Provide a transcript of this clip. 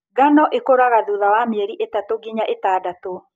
Ngano ĩkũraga thutha wa mĩeri itatũ nginya itandatũ.